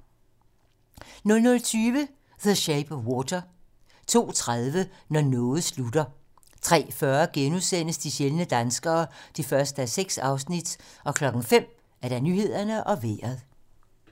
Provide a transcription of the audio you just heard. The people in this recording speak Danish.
00:20: The Shape of Water 02:30: Når noget slutter 03:40: De sjældne danskere (1:6)* 05:00: Nyhederne og Vejret